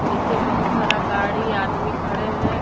नीचे बहुत सारा गाड़ी आदमी खड़े हैं।